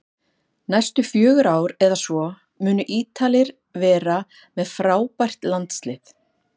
Næstu fjögur ár eða svo munu Ítalir vera með frábært landslið